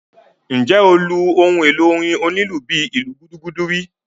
Ǹjẹ́ o lu ohun èlò orin onílù bíi ìlù gúdúgúdú rí?